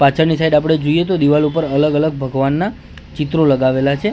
પાછડની side આપડે જોઈએ તો દીવાલ ઉપર અલગ અલગ ભગવાનના ચિત્રો લગાવેલા છે.